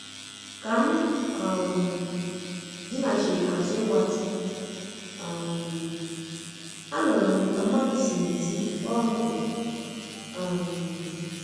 Ka m um dinachiri àzụ́ ịgbatị, um anụrụ m ka mmadu si n'ezi kpọọ m oku um